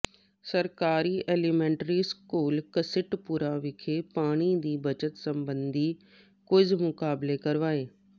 ਸਰਕਾਰੀ elementary school Ghasitpura ਵਿਖੇ ਪਾਣੀ ਦੀ ਬੱਚਤ ਸਬੰਧੀ ਕੁਇਜ ਮੁਕਾਬਲੇ ਕਰਵਾਏ